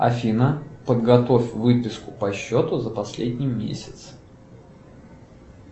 афина подготовь выписку по счету за последний месяц